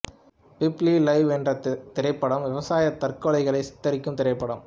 Peepli live என்ற திரைப்படம் விவசாயி தற்கொலைகளைச் சித்தரிக்கும் திரைப்படம்